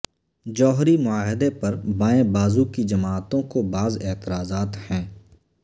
جوہری معاہدے پر بائیں بازوں کی جماعتوں کو بعض اعتراضات ہیں